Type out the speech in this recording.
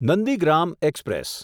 Nandigram express